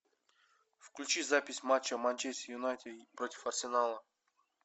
включи запись матча манчестер юнайтед против арсенала